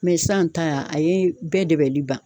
sisan ta a ye bɛɛ dɛbali ban.